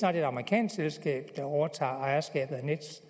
er et amerikansk selskab der overtager ejerskabet af nets